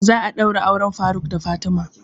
Za a ɗaura auren faruk da fatima